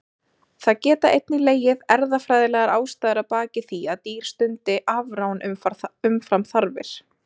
Það geta einnig legið erfðafræðilegar ástæður að baki því að dýr stundi afrán umfram þarfir.